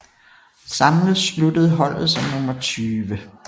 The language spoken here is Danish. Samlet sluttede holdet som nummer 20